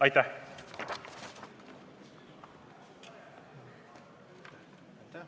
Aitäh!